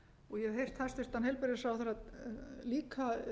og ég hef heyrt hæstvirtan heilbrigðisráðherra líka